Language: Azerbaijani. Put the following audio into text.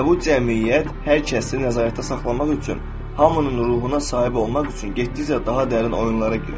Və bu cəmiyyət hər kəsi nəzarətdə saxlamaq üçün, hamının ruhuna sahib olmaq üçün getdikcə daha dərin oyunlara girişir.